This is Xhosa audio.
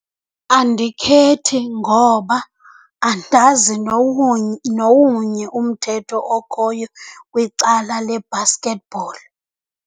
Andikhethi ngoba andazi nowunye umthetho okhoyo kwicala le-basketball.